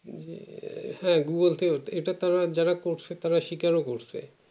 যে এ এ হ্যাঁ এটা তো যারা করছে তারা স্বীকার ও করছে